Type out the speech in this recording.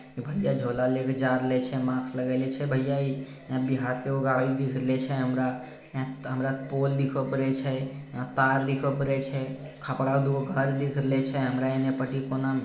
भैया झोला ले के जा रहले छै मास्क लगईले छै भैया ई बिहार के एगो गाड़ीदिख रहल छै हमरा हमरा पोल दिखब करे छै तार दिखब करे छै खपड़ा के दू गो घर दिख रहल छै हमरा एने पटी कोना --